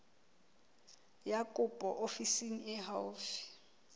ya kopo ofising e haufi